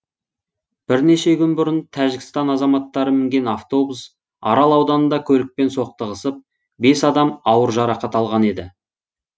бірнеше күн бұрын тәжікстан азаматтары мінген автобус арал ауданында көлікпен соқтығысып бес адам ауыр жарақат алған еді